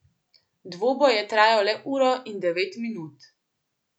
Dvoboj je trajal le uro in devet minut.